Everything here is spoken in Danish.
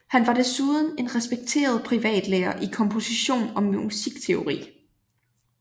Han var desuden en respekteret privatlærer i komposition og musikteori